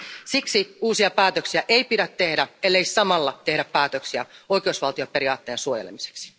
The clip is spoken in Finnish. Siksi uusia päätöksiä ei pidä tehdä, ellei samalla tehdä päätöksiä oikeusvaltioperiaatteen suojelemiseksi.